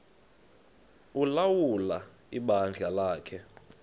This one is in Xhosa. ulawula ibandla lakhe